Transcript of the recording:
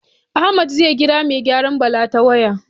Ahmad zai ƙira mai gyaran Bala ta waya